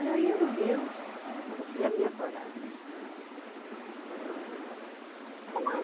Era eu e Deus e a minha coragem. Lá